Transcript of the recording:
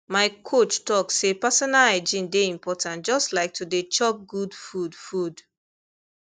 my coach talk say personal hygiene dey important just like to dey chop good food food